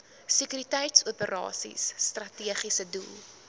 sekuriteitsoperasies strategiese doel